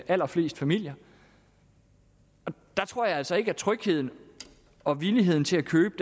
allerfleste familier og der tror jeg altså ikke at trygheden og villigheden til at købe